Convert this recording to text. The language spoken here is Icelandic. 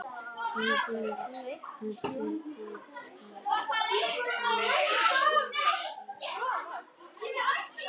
Titringurinn hætti og skjárinn slokknaði.